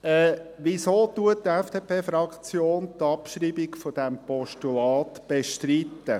Weshalb bestreitet die FDP die Abschreibung dieses Postulats?